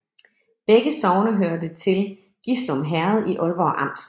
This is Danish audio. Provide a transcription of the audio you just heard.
Begge sogne hørte til Gislum Herred i Aalborg Amt